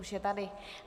Už je tady.